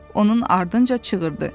Sincab onun ardınca çığırdı.